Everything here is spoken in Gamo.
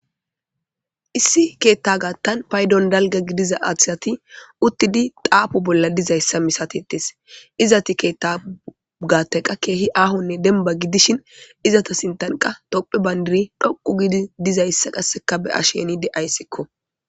Issi keetta gaattan paydon dalga gidiza athsati uttidi daafu bolla dizayssa misatetes izati keettaugaatteqa keehi aahonne denba gidishin izata sintanqa tophe bayndiri dhoqu gidi dizayssa qasseka be asheni de ayssikko.